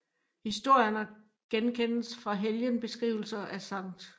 Historierne genkendes fra helgenbeskrivelserne af Skt